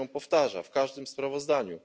To się powtarza w każdym sprawozdaniu.